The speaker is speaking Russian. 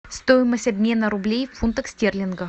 стоимость обмена рублей в фунтах стерлингах